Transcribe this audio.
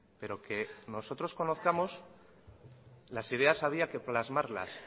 pero que nosotros conozcamos las ideas había que plasmarlas